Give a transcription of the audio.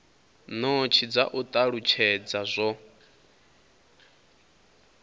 notsi dza u talutshedza zwo